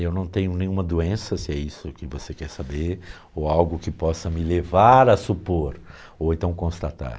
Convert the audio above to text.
Eu não tenho nenhuma doença, se é isso que você quer saber, ou algo que possa me levar a supor, ou então constatar.